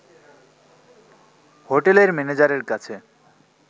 হোটেলের ম্যানেজারের কাছে